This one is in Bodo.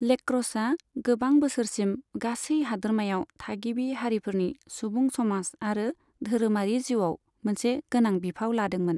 लेक्र'सआ गोबां बोसोरसिम गासै हादोरमायाव थागिबि हारिफोरनि सुबुं समाज आरो धोरोमारि जिउआव मोनसे गोनां बिफाव लादोंमोन।